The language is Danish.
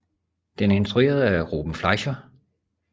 Den er instrueret af Ruben Fleischer